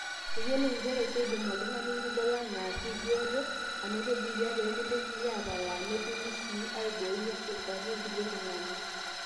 iyiolou injere keidim oltung'ani lidol enaa kebioto anoto biitia pee mintokiki aapalaa netumi sii aibooi meshurtaki irkulie tung'anak